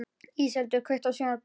Íseldur, kveiktu á sjónvarpinu.